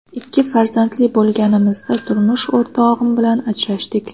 Ikki farzandli bo‘lganimizda turmush o‘rtog‘im bilan ajrashdik.